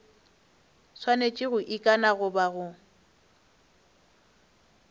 swanetše go ikana goba go